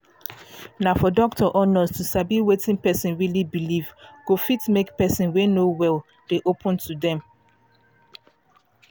na for doctor or nurse to sabi wetin person um believe go fit make person wey no well dey open to dem